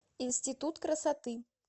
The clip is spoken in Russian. институт красоты